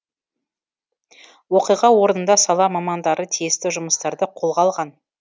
оқиға орнында сала мамандары тиісті жұмыстарды қолға алған